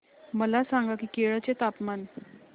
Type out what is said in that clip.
मला सांगा की केरळ चे तापमान